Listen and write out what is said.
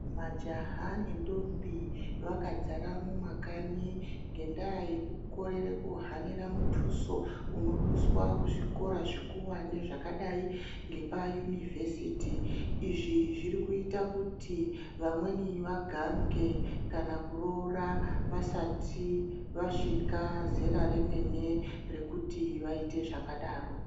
Majaha ne ndombi vakadzara mu makanyi ngenda yeku korere ku hanira mutuso uno duswa ku zvikora zvikuwani zvakadai ngepa yunivhesiti izvi zviri kuita kuti vamweni vagange kana ku roora vasati vasvika zera remene rekuti vaite zvakadaro.